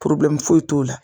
foyi t'o la